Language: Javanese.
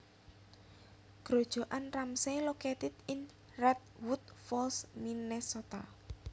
Grojogan Ramsey located in Redwood Falls Minnesota